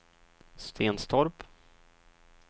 Stenstorp